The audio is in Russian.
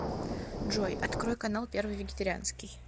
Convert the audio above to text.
джой открой канал первый вегетарианский